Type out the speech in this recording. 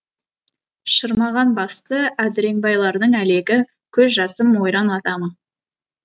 шырмаған басты әдіреңбайлардың әлегі көз жасым ойран ата ма